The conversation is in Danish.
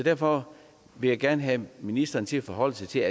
derfor vil jeg gerne have ministeren til at forholde sig til